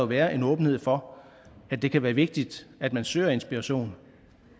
være en åbenhed for at det kan være vigtigt at man søger inspiration